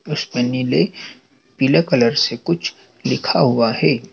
उसपे नीले पीले कलर से कुछ लिखा हुआ है।